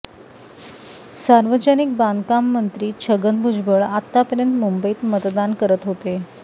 सार्वजनिक बांधकाममंत्री छगन भुजबळ आतापर्यंत मुंबईत मतदान करत होते